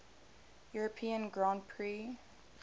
european grand prix